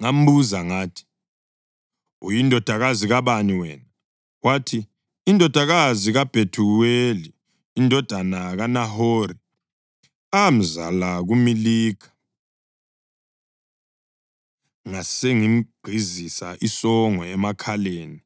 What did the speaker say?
Ngambuza ngathi, ‘Uyindodakazi kabani wena?’ Wathi, ‘Indodakazi kaBhethuweli indodana kaNahori, amzala kuMilikha.’ Ngasengimgqizisa isongo emakhaleni